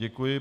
Děkuji.